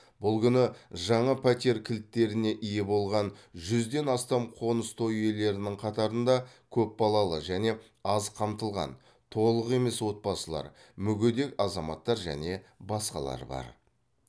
бұл күні жаңа пәтер кілттеріне ие болған жүзден астам қоныс той иелерінің қатарында көпбалалы және аз қамтылған толық емес отбасылар мүгедек азаматтар және басқалар бар